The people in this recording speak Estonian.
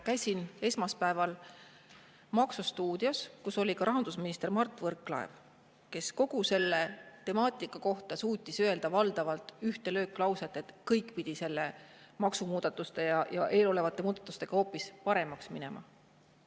Käisin esmaspäeval "Laseri maksustuudios", kus ka rahandusminister Mart Võrklaev, kes kogu selle temaatika kohta suutis öelda valdavalt ühte lööklauset, et kõik pidi nende maksumuudatuste ja eelolevate muudatustega hoopis paremaks minema.